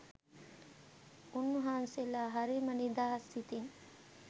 උන්වහන්සේලා හරිම නිදහස් සිතින්